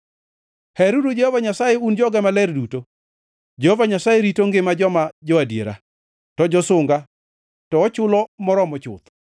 Heruru Jehova Nyasaye un joge maler duto! Jehova Nyasaye rito ngima joma jo-adiera, to josunga to ochulo moromo chuth.